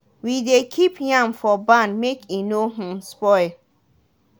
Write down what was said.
we dey keep yam for barn make e no um spoil.